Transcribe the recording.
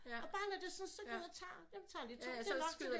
Og bare når det sådan tager ud og tager jeg tager lige to det er nok til det